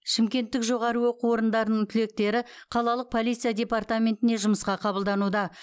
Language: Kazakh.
шымкенттік жоғары оқу орындарының түлектері қалалық полиция департаментіне жұмысқа қабылдануда